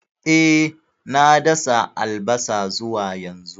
E, na dasa albasa zuwa yanzu.